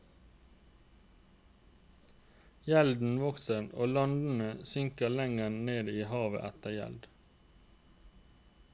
Gjelden vokser og landene synker lenger ned i et hav av gjeld.